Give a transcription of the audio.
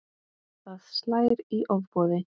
Það slær í ofboði.